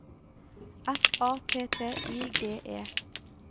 F A T T I G E